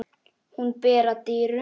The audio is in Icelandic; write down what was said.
Hún ber að dyrum.